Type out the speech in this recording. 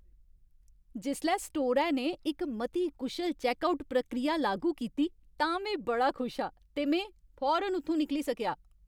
जिसलै स्टोरै ने इक मती कुशल चैक्कआउट प्रक्रिया लागू कीती तां में बड़ा खुश हा ते में फौरन उत्थूं निकली सकेआ।